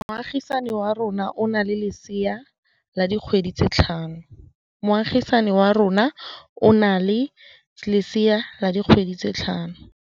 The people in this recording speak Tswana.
Moagisane wa rona o na le lesea la dikgwedi tse tlhano.